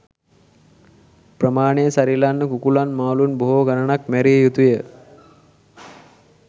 ප්‍රමානය සරිලන්න කුකුලන් මාලුන් බොහෝ ගනනක් මැරිය යුතුය